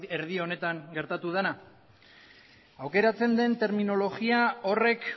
erdi honetan gertatu dena aukeratzen den terminologia horrek